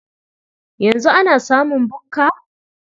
Yanzu ana samun bukka?